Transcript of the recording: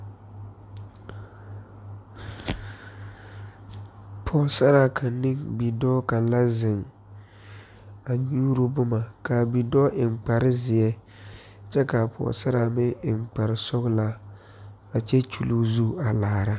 Pɔɔsaraa kaŋ ne bidɔɔ kaŋ la zeŋ a nyuuro boma kaa bidɔɔ eŋ kparezeɛ kyɛ kaa pɔɔsaraa meŋ eŋ kparesɔglaa a kyɛ kyuluu zu a laara.